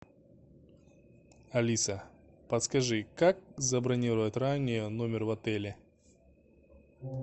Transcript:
алиса подскажи как забронировать ранее номер в отеле